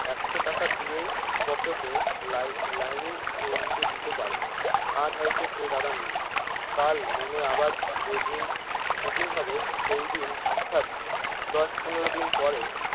একশো টাকা দিয়েই পকেটে এ লাই লাইনিং উল্টে দিতে পারে আজ হয়তো সে দাদা নেই কাল মনে আবার যেইদিন শুটিং হবে সেইদিন অর্থাৎ দশ পনের দিন পরে।